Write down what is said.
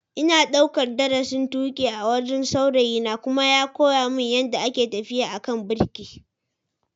Ina daukar darasin tuki a wurin saurayina kuma ya koya mini yadda ake tafiya a kan birki.